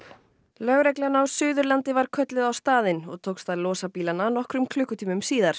lögreglan á Suðurlandi var kölluð á staðinn og tókst að losa bílana nokkrum klukkutímum síðar